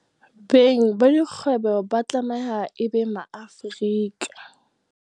Beng ba dikgwebo ba tlameha e be Maafrika